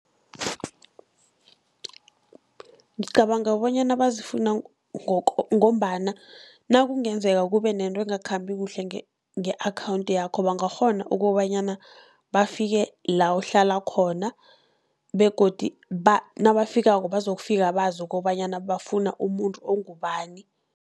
Ngicabanga bonyana bazifuna, ngombana nakungenzeka kube nento engakhambi kuhle nge-account yakho, bangakghona kobanyana bafike la uhlala khona begodu nabafikako bazokufika bazi kobanyana bafuna umuntu ongubani.